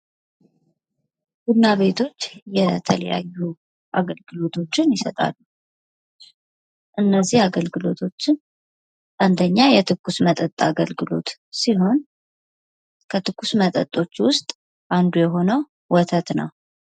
ቡና ቤቶች የተለያቶችን ይሰጣል እነዚህ አገልግሎቶችን አንደኛ የትኩስ መጠጥ አገልግሎት ሲሆን ከትኩስ መጠጦች ውስጥ አንዱ የሆነው ወተት ነው።